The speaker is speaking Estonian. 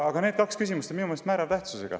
Aga need kaks küsimust on minu meelest määrava tähtsusega.